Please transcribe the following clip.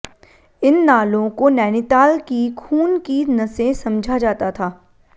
इन नालों को नैनीताल की खून की नसें समझा जाता था